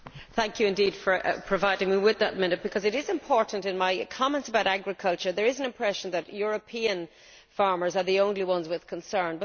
Madam President, thank you for providing me with another minute, because it is important for my comments about agriculture. There is an impression that European farmers are the only ones with concerns.